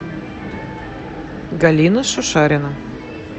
галина шушарина